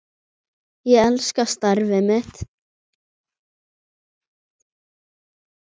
Ég elska starfið mitt.